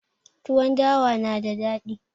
Tuwon dawa na da dadi